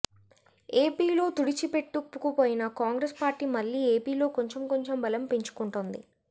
ఏపీలో తుడిచిపెట్టుకుపోయిన కాంగ్రెస్ పార్టీ మళ్ళీ ఏపీలో కొంచెం కొంచెం బలం పెంచుకుంటోంది